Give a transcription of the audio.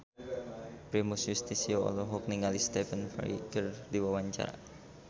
Primus Yustisio olohok ningali Stephen Fry keur diwawancara